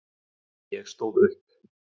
Ég stóð upp.